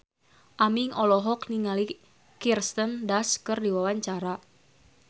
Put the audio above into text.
Aming olohok ningali Kirsten Dunst keur diwawancara